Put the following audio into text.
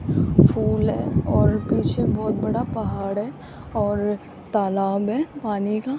फूल है और पीछे बहोत बड़ा पहाड़ है और और तालाब है पानी का --